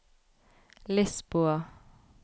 Lisboa